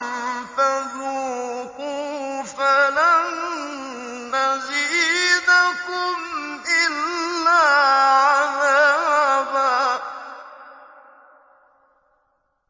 فَذُوقُوا فَلَن نَّزِيدَكُمْ إِلَّا عَذَابًا